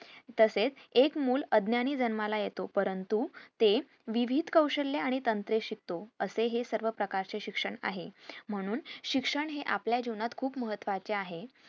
तसेच एक मुलं अज्ञानी जन्माला येतो परंतु ते विविध कौशल्य आणि तंत्रे शिकतो असे हे सर्व प्रकारचे शिक्षण आहे म्हणून शिक्षण हे आपल्या जीवनात खूप महत्वाचे आहे